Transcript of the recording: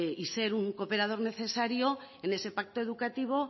y ser un operador necesario en ese pacto educativo